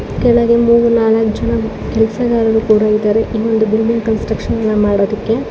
ಕೆಳಗೊಂದು ನಾಲಕ್ ಜನ ಕೆಲಸಗಾರರು ಕೂಡ ಇದ್ದಾರೆ ಇನ್ನೊಂದು ಬಿಲ್ಡಿಂಗ್ ಕನ್ಸ್ಟ್ರಕ್ಷನ್ ಮಾಡೋದಿಕ್ಕೆ--